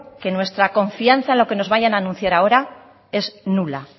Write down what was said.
que nuestra confianza en lo que nos vayan a anunciar ahora es nula